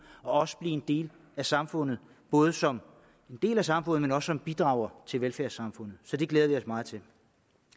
og også blive en del af samfundet både som en del af samfundet og som bidrager til velfærdssamfundet så det glæder vi os meget til